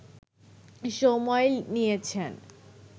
সময় নিয়েছেন